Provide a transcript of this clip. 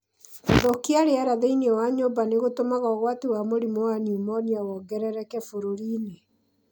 Gũthũkia rĩera thĩinĩ wa nyũmba nĩ gũtũmaga ũgwati wa mũrimũ wa pneumonia wongerereke bũrũri-inĩ.